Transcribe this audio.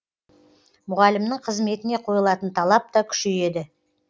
мұғалімнің қызметіне қойылатын талап та күшейеді